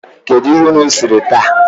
Kedu ihe unu siri taa?